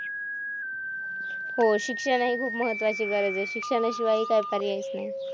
हो, शिक्षण हि एक खूप महत्त्वाची गरज आहे. शिक्षणाशिवाय काही पर्यायचं नाही.